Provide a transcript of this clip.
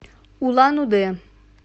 улан удэ